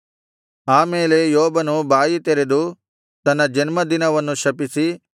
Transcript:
ಆ ಮೇಲೆ ಯೋಬನು ಬಾಯಿ ತೆರೆದು ತನ್ನ ಜನ್ಮ ದಿನವನ್ನು ಶಪಿಸಿ